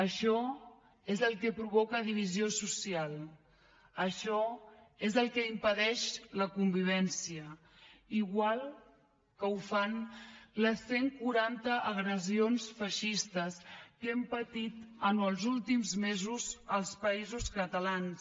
això és el que provoca divisió social això és el que impedeix la convivència igual que ho fan les cent quaranta agressions feixistes que hem patit en els últims mesos als països catalans